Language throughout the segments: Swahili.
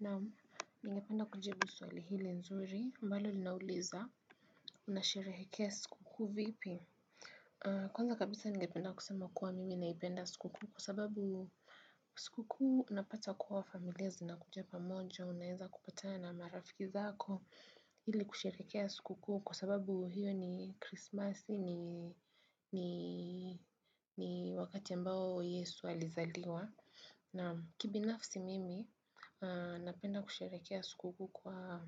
Naam, ningependa kujibu swali hilo zuri ambalo linauliza, unasherehekea sikukuu vipi? Kwanza kabisa ningependa kusema kuwa mimi naipenda sikukuu kwa sababu sikukuu unapata kuwa familia zinakuja pamoja unaweza kupatana na marafiki zako ili kusherehekea sikukuu kwa sababu hiyo ni Christmas ni wakati ambao Yesu alizaliwa. Na kibinafsi mimi, napenda kusherehekea sikukuu kwa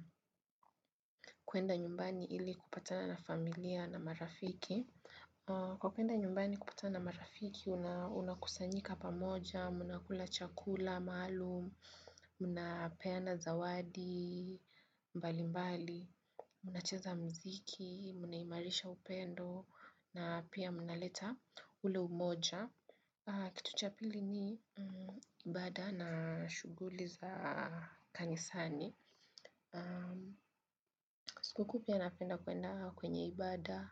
kwenda nyumbani ili kupatana na familia na marafiki. Kwa kwenda nyumbani kupatana na marafiki, unakusanyika pamoja, mnakula chakula maalum, mnapeana zawadi mbalimbali, mnacheza mziki, mnaimarisha upendo, na pia mnaleta ule umoja. Kitu cha pili ni ibada na shughuli za kanisani sikukuu pia napenda kwenda kwenye ibada,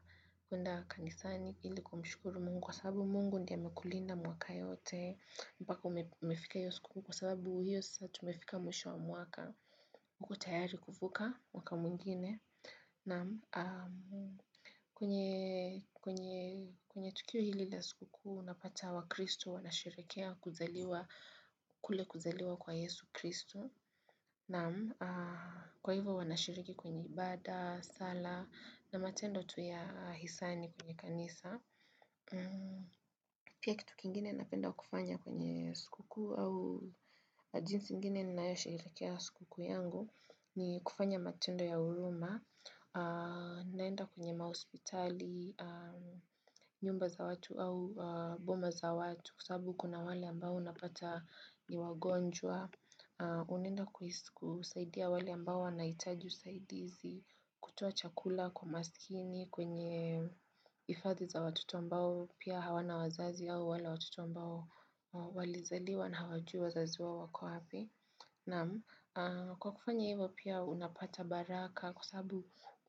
kwenda kanisani ili kumshukuru Mungu kwa sababu Mungu ndiye amekulinda mwaka yote mpaka umefika hiyo sikukuu kwa sababu hiyo sasa tumefika mwisho wa mwaka kuwa tayari kuvuka mwaka mwingine kwenye tukio hili la sikukuu unapata wakristo wanasherehekea kuzaliwa kule kuzaliwa kwa Yesu kristo. Naam kwa hivyo wanashiriki kwenye ibada, sala na matendo tu ya hisani kwenye kanisa. Pia kitu kingine napenda kufanya kwenye sikukuu au jinsi nyingine ninayosherehekea sikukuu yangu ni kufanya matendo ya huruma. Naenda kwenye mahospitali, nyumba za watu au boma za watu kwa sababu kuna wale ambao unapata ni wagonjwa. Unaenda kusaidia wale ambao wanahitaji usaidizi, kutoa chakula kwa maskini, kwenye hifadhi za watoto ambao pia hawana wazazi au wale watoto ambao walizaliwa na hawajui wazazi wao wako wapi. Naam, kwa kufanya hivyo pia unapata baraka kwa sababu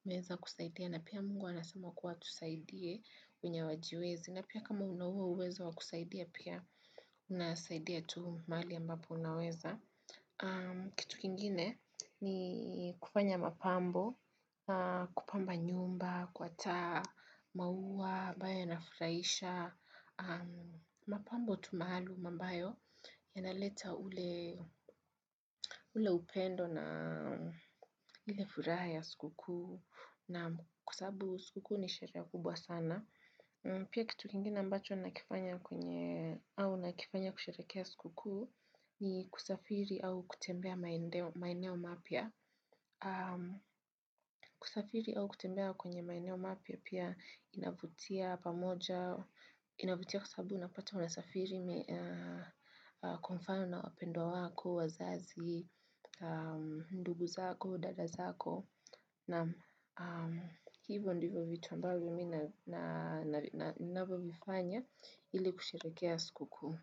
unaweza kusaidia na pia Mungu anasema kuwa tusaidie wenye hawajiwezi na pia kama una huo uwezo wa kusaidia pia unasaidia tu mahali ambapo unaweza kitu kingine ni kufanya mapambo, kupamba nyumba kwa taa, maua ambayo yanafurahisha mapambo tu maalum ambayo yanaleta ule upendo na ile furaha ya sikukuu naam kwa sababu sikukuu ni sherehe kubwa sana. Pia kitu kingine ambacho nakifanya kwenye au nakifanya kusherehekea sikukuu ni kusafiri au kutembea maeneo mapya. Kusafiri au kutembea kwenye maeneo mapya pia inavutia pamoja, inavutia kwa sababu napata unasafiri kwa mfano na wapendwa wako, wazazi, ndugu zako, dada zako Naam, hivyo ndivyo vitu ambavyo mimi ninavyovifanya ili kusherehekea sikukuu.